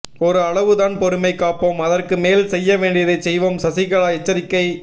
ஒரு அளவுதான் பொறுமை காப்போம் அதற்கு மேல் செய்யவேண்டியதை செய்வோம் சசிகலா எச்சரிக்கை